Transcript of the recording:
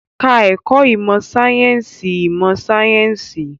Ka ẹ̀kọ́ ìmọ̀ sáyẹ́sì ìmọ̀ sáyẹ́sì